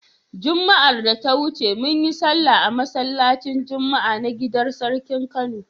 Juma'ar da ta wuce mun yi sallah a masallacin Juma'a na gidar sarkin Kano.